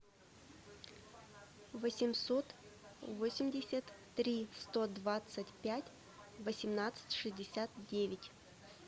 восемьсот восемьдесят три сто двадцать пять восемнадцать шестьдесят девять